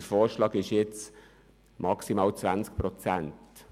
Der Änderungsvorschlag spricht nun von «maximal 20 Prozent».